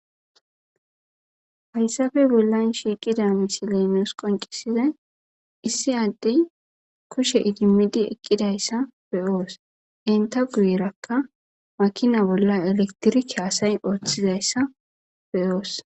Hayssafe bollan shiiqida misileemeos qoncisizay issi addey kushe idimidi eqqidayssa beyoos enta guyerakka makina bolla elektirike asay ooththizayssa beyoos